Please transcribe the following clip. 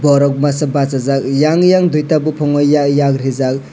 borok masajak yang yang duita bopongo yag rijak.